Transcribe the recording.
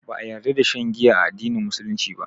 Ba a ƴarda da shan giya a addinin musulunci ba.